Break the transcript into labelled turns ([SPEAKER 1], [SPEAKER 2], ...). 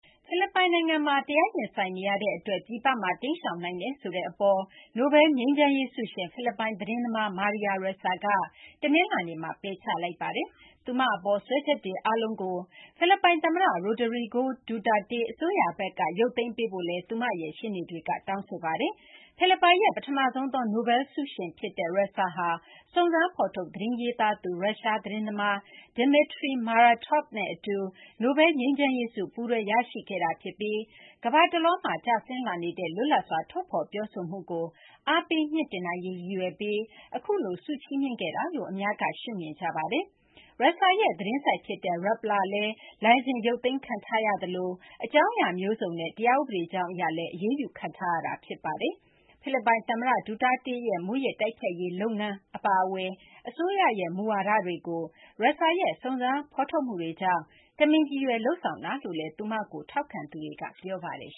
[SPEAKER 1] ဖိလစ်ပိုင် နိုင်ငံမှာ တရားရင်ဆိုင်နေရတဲ့ အတွက် ပြည်ပမှာ တိမ်းရှောင်နိုင်တယ်ဆိုတဲ့ အပေါ် နိုဘဲလ် ငြိမ်းချမ်းရေး ဆုရှင် ဖိလစ်ပိုင် သတင်းသမား Maria Ressa က တနလာၤနေ့မှာ ပယ်ချလိုက်ပါတယ်။ သူမ အပေါ် စွဲချက်တွေ အားလုံးကို ဖိလစ်ပိုင် သမ္မတ Rodrigo Duterte အစိုးရဘက်က ရုပ်သိမ်းပေးဖို့လည်း သူမရဲ့ ရှေ့နေတွက တောင်းဆိုလိုက်ပါတယ်။ ဖိလစ်ပိုင်ရဲ့ ပထမဆုံးသော နိုဘဲလ် ဆုရှင်ဖြစ်တဲ့ Ressa ဟာ စုံးစမ်းဖော်ထုတ် သတင်းရေးသားသူ ရုရှား သတင်းသမား Dmitry Muratov နဲ့ အတူ နိုဘဲလ် ငြိမ်းချမ်းရေးဆု ပူးတွဲ ရရှိခဲ့တာဖြစ်ပြီး ကမ ္ဘာတလွှားမှာ ကျဆင်းလာနေတဲ့ လွတ်လပ်စွာ ထုတ်ဖော်ပြောဆိုမှုကို အားပေး မြှင့်တင်နိုင်ရေး ရည်ရွယ်ပြီး အခုလို ဆုချီးမြှင့်ခဲ့တာလို့ အများက ရှုမြင်ကြပါတယ်။ Ressa ရဲ့ သတင်းဆိုဒ် ဖြစ်တဲ့ Rappler လည်း လိုင်စင် ရုပ်သိမ်းခံထားရသလို အကြောင်းအရာ မျိုးစုံနဲ့ တရားဥပဒေကြောင်း အရလည်း အရေးယူခံထားရတာ ဖြစ်ပါတယ်။ ဖိလစ်ပိုင် သမ္မတ Duterte ရဲ့ မူးယစ် တိုက်ဖျက်ရေး လုပ်ငန်း အပါအဝင် အစိုးရရဲ့ မူဝါဒတွေကို Ressa ရဲ့ စုံစမ်းဖော်ထုတ်မှုတွေကြောင့် တမင်ရည်ရွယ် လုပ်ဆောင်တာလို့လည်း သူမကို ထေ
[SPEAKER 2] ာက်ခံသူတွေက ပြောပါတယ်။